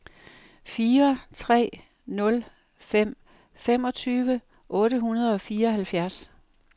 fire tre nul fem femogtyve otte hundrede og fireoghalvfjerds